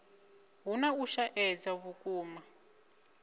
hu na u shaedza vhukuma